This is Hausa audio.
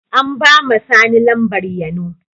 An ba ma sani Lambar Yano.